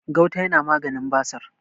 gauta yana maganin basir